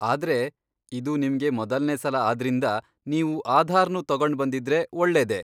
ಆದ್ರೆ, ಇದು ನಿಮ್ಗೆ ಮೊದಲ್ನೇ ಸಲ ಆದ್ರಿಂದ ನೀವು ಆಧಾರ್ನೂ ತಗೊಂಡ್ಬಂದಿದ್ರೆ ಒಳ್ಳೇದೇ.